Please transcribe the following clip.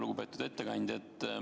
Lugupeetud ettekandja!